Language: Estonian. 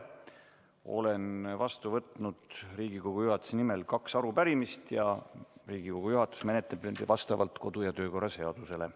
Olen vastu võtnud Riigikogu juhatuse nimel kaks arupärimist ja Riigikogu juhatus menetleb neid vastavalt kodu- ja töökorra seadusele.